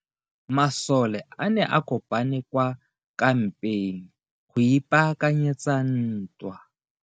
Masole a ne a kopane kwa kampeng go ipaakanyetsa ntwa.